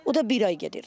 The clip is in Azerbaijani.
O da bir ay gedir.